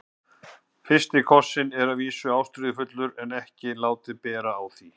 FYRSTI KOSSINN er að vísu ástríðufullur en ekki látið bera á því.